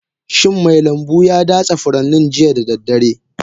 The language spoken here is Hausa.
Shin mai lambu ya datse furannin jiya da daddare?